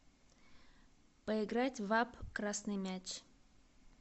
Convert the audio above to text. поиграть в апп красный мяч